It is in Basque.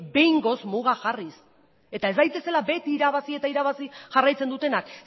behingoz mugak jarriz eta ez daitezela beti irabazi eta irabazi jarraitzen dutenak